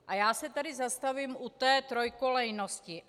A já se tady zastavím u té trojkolejnosti.